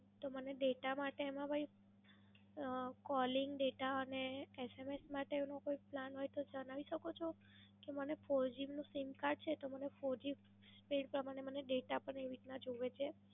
તો મને Data માટે એમાં કોઈ અમ Calling Data અને SMS માટેનો કોઈ Plan હોય તો જણાવી શકો છો? કે મને For G Sim Card છે તો મને Four G Speed પ્રમાણે મને Data પણ એવી રીતના જોઈએ છે.